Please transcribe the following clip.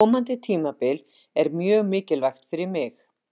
Komandi tímabil er mjög mikilvægt fyrir mig.